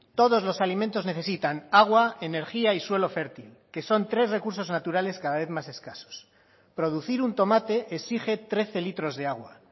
todos los alimentos necesitan agua energía y suelo fértil que son tres recursos naturales cada vez más escasos producir un tomate exige trece litros de agua